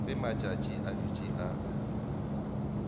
ge matšatši a dutše a